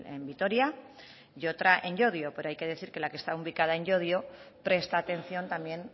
en vitoria y otra en llodio pero hay que decir que la que está ubicada en llodio presta atención también